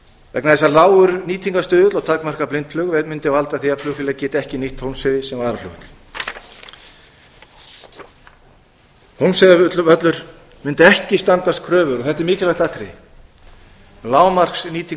vegna þess að lágur nýtingarstuðull og takmarkað blindflug mundi valda því að flugvélar gætu ekki nýtt hólmsheiði sem varaflugvöll hólmsheiðarvöllur mundi ekki standast kröfur þetta er mikilvægt atriði lágmarki